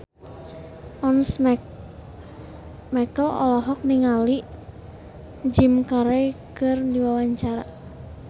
Once Mekel olohok ningali Jim Carey keur diwawancara